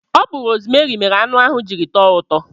Ọ bu rosmeri mere anụ ahụ jiri tọọ ụtọ